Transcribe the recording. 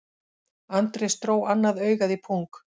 Andrés dró annað augað í pung